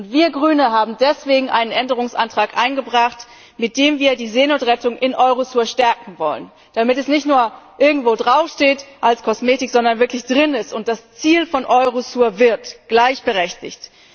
Und wir als Grüne haben deswegen einen Änderungsantrag eingebracht, mit dem wir die Seenotrettung in Eurosur stärken wollen, damit es nicht nur irgendwo draufsteht als Kosmetik, sondern wirklich drin ist und das Ziel von Eurosur wird gleichberechtigt!